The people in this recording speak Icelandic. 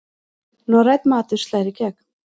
Norrænn matur slær í gegn